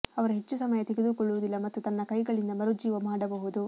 ಅವರು ಹೆಚ್ಚು ಸಮಯ ತೆಗೆದುಕೊಳ್ಳುವುದಿಲ್ಲ ಮತ್ತು ತನ್ನ ಕೈಗಳಿಂದ ಮರುಜೀವ ಮಾಡಬಹುದು